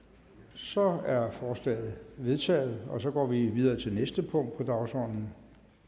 så er forslaget vedtaget og så går vi videre til næste punkt på dagsordenen